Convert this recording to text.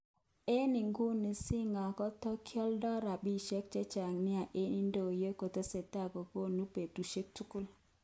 Eng iguni Singer kotakioldo rapishek chechang nia eng idonyo akotesetai kokoroni betushek tugul.